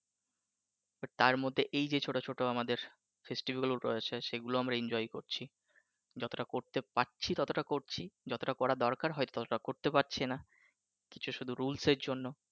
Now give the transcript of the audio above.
but তার মধ্যে এইযে ছোট ছোট আমাদের festivale গুলো রয়েছে সেগুলো আমরা enjoy করছি যতটা করতে পারছি ততটা করছি যতটা করার দরকার ততটা করতে পারছি নাহ শুধু কিছু rules এর জন্য